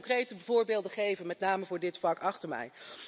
Ik zal u de concrete voorbeelden geven, met name voor het vak achter mij.